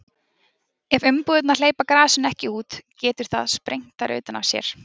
ef umbúðirnar hleypa gasinu ekki út getur það sprengt þær utan af sér